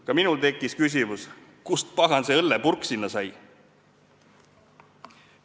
Ka minul tekkis küsimus, kust, pagan, see õllepurk sinna sai.